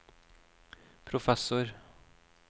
professor